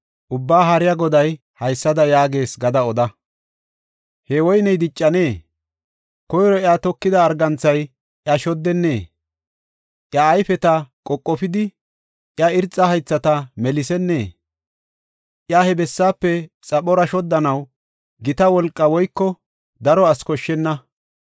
Ubbaa Haariya Goday haysada yaagees gada oda. “He woyney diccanee? Koyro iya tokida arganthay iya shoddenee? Iya ayfeta qoqofidi, iya irxa haythata melisennee? Iya he bessaafe xaphora shoddanaw gita wolqaa woyko daro asi koshshenna.